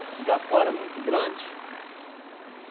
O igapó era muito grande.